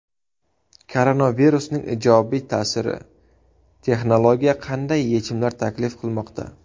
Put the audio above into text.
Koronavirusning ijobiy ta’siri: texnologiya qanday yechimlar taklif qilmoqda?.